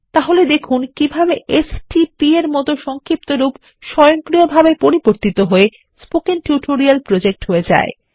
তাহলে দেখুন কিভাবে এসটিপি এরমত একটি সংক্ষিপ্তরূপ স্বয়ংক্রিয়ভাবে পরিবর্তিত হয়ে স্পোকেন টিউটোরিয়াল প্রজেক্ট এ হয়ে যায়